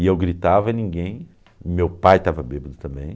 E eu gritava e ninguém, meu pai estava bêbado também.